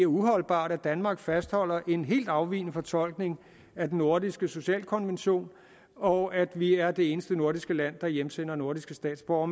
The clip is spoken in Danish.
uholdbart at danmark fastholder en helt afvigende fortolkning af den nordiske socialkonvention og at vi er det eneste nordiske land der hjemsender nordiske statsborgere